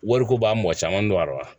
Wariko b'a mɔgɔ caman dɔn a la